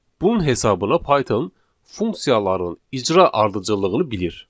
Bunun hesabına Python funksiyaların icra ardıcıllığını bilir.